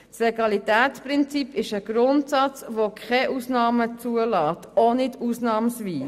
Das Legalitätsprinzip ist ein Grundsatz, welcher keine Ausnahmen zulässt.